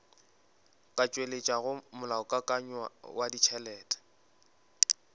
ka tšweletšago molaokakanywa wa ditšhelete